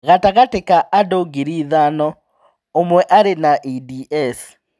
Gatagatĩ ka andũ ngiri ithano, ũmwe arĩ na EDS.